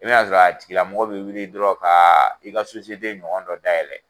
I bina sɔrɔ a tigilamɔgɔ bi wili dɔrɔn ka i ka ɲɔgɔn dɔ dayɛlɛ